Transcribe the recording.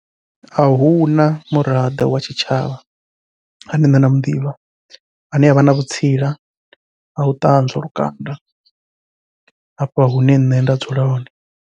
Ahuna muraḓo wa tshitshavha ane nṋe nda muḓivha, ane avha na vhutsila hau ṱanzwa lukanda hafha hune nṋe nda dzula hone.